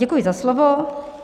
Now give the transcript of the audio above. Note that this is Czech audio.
Děkuji za slovo.